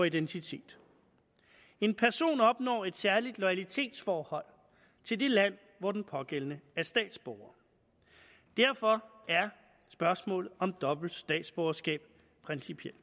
identitet en person opnår et særligt loyalitetsforhold til det land hvor den pågældende er statsborger derfor er spørgsmålet om dobbelt statsborgerskab principielt